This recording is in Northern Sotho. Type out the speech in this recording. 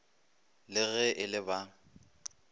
le ge e le ba